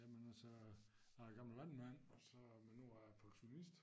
Jamen altså jeg er gammel landmand og så men nu er jeg pensionist